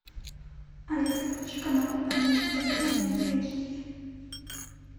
алиса включи канал амедиа премиум эйч ди